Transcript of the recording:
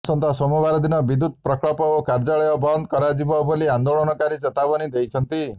ଆସନ୍ତା ସୋମବାର ଦିନ ବିଦ୍ୟୁତ ପ୍ରକଳ୍ପ ଓ କାର୍ଯ୍ୟାଳୟ ବନ୍ଦ କରାଯିବ ବୋଲି ଆନ୍ଦୋଳନକାରୀ ଚେତାବନୀ ଦେଇଛନ୍ତି